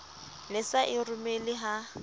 ne sa e romele ha